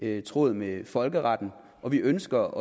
er i tråd med folkeretten og vi ønsker